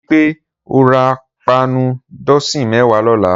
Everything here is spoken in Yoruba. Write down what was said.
Rìpé ó rà páànù dọsin mẹ̀wá lọ̀lá